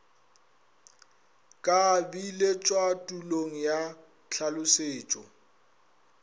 ka biletšwa tulong ya tlhalošetšo